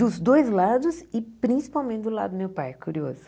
Dos dois lados e principalmente do lado do meu pai, curioso.